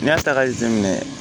N'i y'a ta k'a jate minɛ